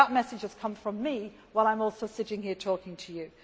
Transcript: violence. That message has come from me while I am also sitting here talking